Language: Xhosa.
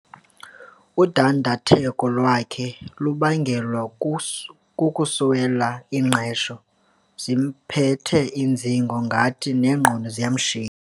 Udandatheko lwakhe lubangelwe kukuswela ingqesho. zimphethe iinzingo ingathi neengqondo ziyamshiya